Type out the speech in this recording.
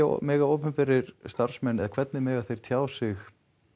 mega opinberir starfsmenn eða hvernig mega þeir tjá sig